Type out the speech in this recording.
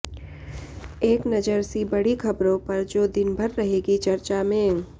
एक नजर सी बड़ी खबरों पर जो दिनभर रहेंगी चर्चा में